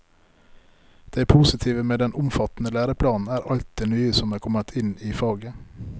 Det positive med den omfattende læreplanen er alt det nye som er kommet inn i faget.